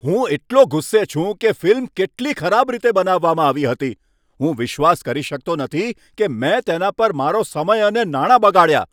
હું એટલો ગુસ્સે છું કે ફિલ્મ કેટલી ખરાબ રીતે બનાવવામાં આવી હતી. હું વિશ્વાસ કરી શકતો નથી કે મેં તેના પર મારો સમય અને નાણાં બગાડ્યા.